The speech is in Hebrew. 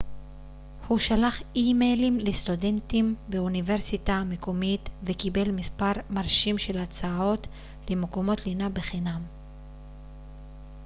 הוא שלח אימיילים לסטודנטים באוניברסיטה המקומית וקיבל מספר מרשים של הצעות למקומות לינה בחינם